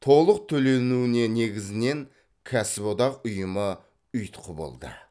толық төленуіне негізінен кәсіподақ ұйымы ұйытқы болды